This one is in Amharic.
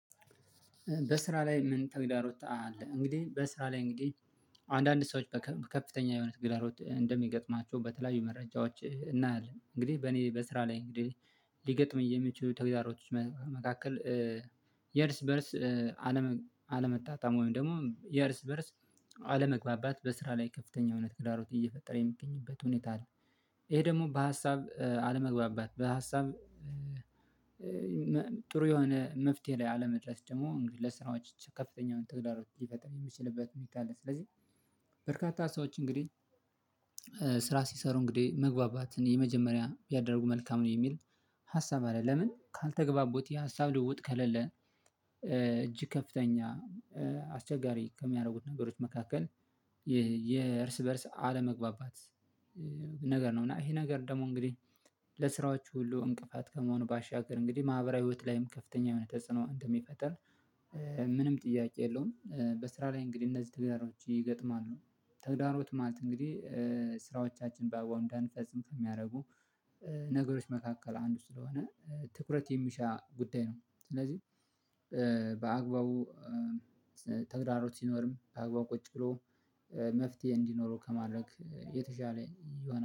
በስራ ላይ ምን ተግዳሮት አለ? እንግዲህ በስራ ላይ እንግዲህ አንዳንድ ሰዎች ከፍተኛ የሆነ ተግዳሮት እንደሚገጥማቸው በተለያዩ መረጃዎች እናያለን እንግዲህ በእኔ በስራ ላይ እንግዲህ ሊገመኝ የሚችሉ ተግዳሮቶች መካከል የእርስ በእርስ አለመጣጣም ወይም ደግሞ የእርስ በእርስ አለመግባባት በስራ ላይ ከፍተኛ የሆነ ተግዳሮት እየፈጠረ የሚገኝበት ሁኔታ አለ። ይሄ ደግሞ በሀሳብ አለመግባባት በሀሳብ ጥሩ የሆነ መፍትሄ ላይ አለመድረስ ደግሞ ለስራዎች እጅግ ከፍተኛ ተግዳሮች ሊፈጥር የሚችልበት ሁኔታ አለ። ስለዚህ በርካታ ሰዎች እንግዲህ ስራ ሲሰሩ እንግዲህ መግባባትን የመጀመሪያ ያደረጉ መልካም ነው የሚል ሀሳብ አለ። ለምን ካልተገባቦት የሀሳብ ልውውጥ ከሌለ እጅግ ከፍተኛ አስቸጋሪ ከሚያደርጉት ነገሮች መካከል የእርስ በእርስ አለመግባባት። ነገር ነው እና ይሄ ነገር ደግሞ እንግዲህ ለስራዎቹ ሁሉ እንቅፋት ከመሆኑ ባሻገር እንግዲህ ማህበራዊ ህይወት ላይም ከፍተኛ የሆነ ተጽዕኖ እንደሚፈጥር ምንም ጥያቄ የለውም። በስራ ላይ እንግዲህ እነዚህ ተግዳሮቶች ይገጥማሉ። ተግዳሮት ማለት እንግዲህ ስራዎቻችን በአግባብ እንዳንፈጽም ከሚያደርጉ ነገሮች መካከል አንዱ ስለሆነ ትኩረት የሚሻ ጉዳይ ነው። ስለዚህ በአግባቡ ተግዳሮት ሲኖርም በአግባቡ ቁጭ ብሎ መፍትሄ እንዲኖረው ከማድረግ የተሻለ የሆነ